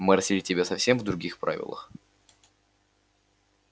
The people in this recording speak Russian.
мы растили тебя совсем в других правилах